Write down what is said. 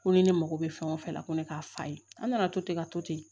Ko ni ne mako bɛ fɛn o fɛn la ko ne k'a fa ye an nana to ten ka to ten